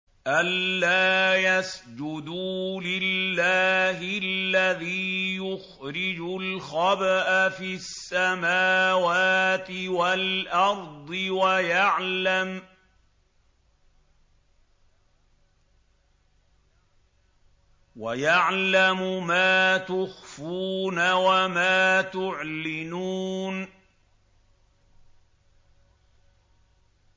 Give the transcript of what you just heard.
أَلَّا يَسْجُدُوا لِلَّهِ الَّذِي يُخْرِجُ الْخَبْءَ فِي السَّمَاوَاتِ وَالْأَرْضِ وَيَعْلَمُ مَا تُخْفُونَ وَمَا تُعْلِنُونَ